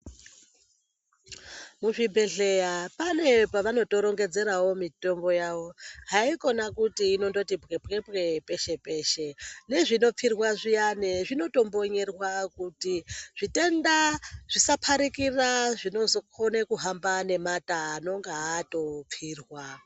Muzvibhedhleya pane pavanotorongedzerawo mitombo yawo. Hayikona kuti inondoti bwepwepwe peshe peshe. Nezvinopfirwa zwiyane zvinotombonyerwa kuti zvitenda zvisaparikira zvinozokone kuhamba ngemate anonga atopfirwa .